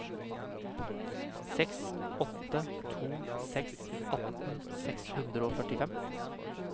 seks åtte to seks atten seks hundre og førtifem